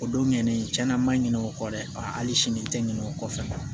O don ɲɛnen tiɲɛna man ɲinɛ o kɔ dɛ hali sini n tɛ ɲinɛ o kɔ fɛnɛ